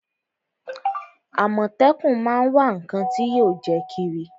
Àmọ̀tẹ́kún má á ń wá ǹnkan tí yóò jẹ́ kírí